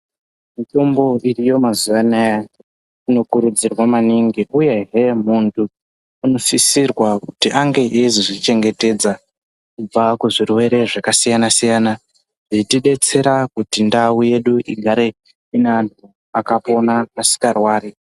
Mitombo iriyo mazuva anaya ino kurudzirwa maningi uyehe muntu uno sisirwa kuti ange eizozvi chengetedza kubva ku zvirwere zvaka siyana siyana zveiti detsera kuti ndau yedu igare ine antu aka pona asingarwari.